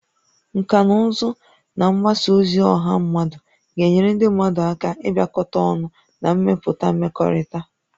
Nkà na ụzụ na mgbasa ozi ọha mmadụ ga-enyere ndị mmadụ aka ịbịakọta ọnụ na ịmepụta mmekọrịta